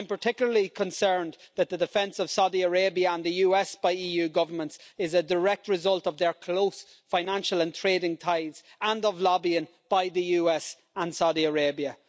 I'm particularly concerned that the defence of Saudi Arabia and the US by EU governments is a direct result of their close financial and trading ties and of lobbying by the US and Saudi Arabia.